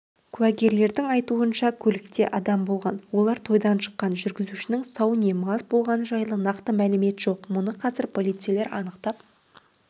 куәгерлердің айтуынша көлікте адам болған олар тойдан шыққан жүргізушінің сау не мас болғаны жайлы нақты мәлімет жоқ мұны қазір полицейлер анықтап